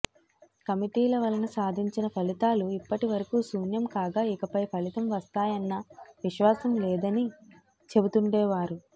కమిటీల వలన సాధించిన ఫలితాలు ఇప్పటివరకు శూన్యం కాగా ఇకపై ఫలితం వస్తాయన్న విశ్వాసం లేదని చెబుతుండేవారు